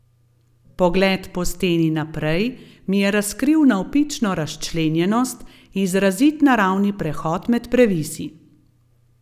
Pogled po steni naprej mi je razkril navpično razčlenjenost, izrazit naravni prehod med previsi.